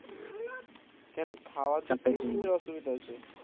কেন খাওয়ার দিক থেকে কিসের অসুবিধা হচ্ছে